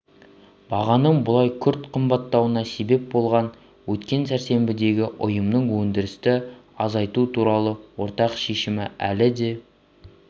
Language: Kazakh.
бағаның бұлай күрт қымбаттауына себеп болған өткен сәрсенбідегі ұйымының өндірісті азайту туралы ортақ шешімі әлі де